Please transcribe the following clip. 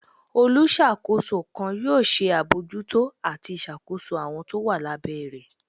Oluṣakos kan yoo ṣe abojúto atí ìṣàkoso awọn to wa lá bẹ́ rẹ.